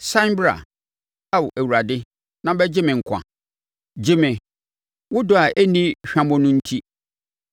Sane bra, Ao Awurade, na bɛgye me nkwa; gye me, wo dɔ a ɛnni hwammɔ no enti.